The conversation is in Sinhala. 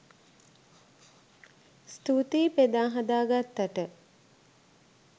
ස්තූතියි බෙදා හදා ගත්තට